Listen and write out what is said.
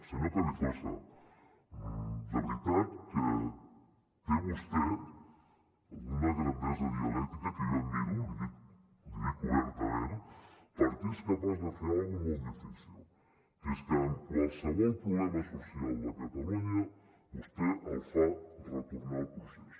senyor carrizosa de veritat que té vostè una grandesa dialèctica que jo admiro li ho dic obertament perquè és capaç de fer una cosa molt difícil que és que qualsevol problema social de catalunya vostè el fa retornar al procés